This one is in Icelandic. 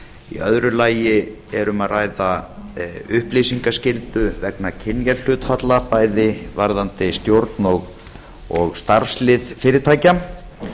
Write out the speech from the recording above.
í öðru lagi er um að ræða upplýsingaskyldu vegna kynjahlutfalla bæði varðandi stjórn og starfslið fyrirtækja og í